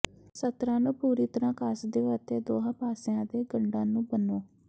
ਸਤਰਾਂ ਨੂੰ ਪੂਰੀ ਤਰ੍ਹਾਂ ਕੱਸ ਦਿਓ ਅਤੇ ਦੋਹਾਂ ਪਾਸਿਆਂ ਦੇ ਗੰਢਾਂ ਨੂੰ ਬੰਨੋ